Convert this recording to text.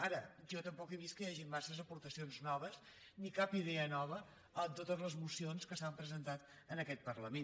ara jo tampoc he vist que hi hagi massa aportacions noves ni cap idea nova en totes les mocions que s’han presentat en aquest parlament